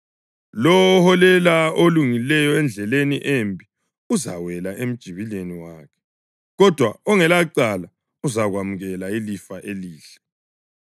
Lowo oholela olungileyo endleleni embi uzawela emjibileni wakhe, kodwa ongelacala uzakwamukela ilifa elihle.